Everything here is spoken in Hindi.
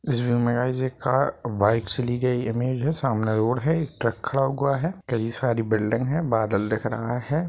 इस व्यू में गाइस एक कार बाइक्स ली गई है ईमेज है। सामने रोड है एक ट्रक खड़ा हुआ है। कई सारी बिल्डिंग है बादल दिख रहा है।